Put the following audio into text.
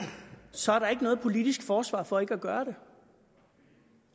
så er der ikke noget politisk forsvar for ikke at gøre det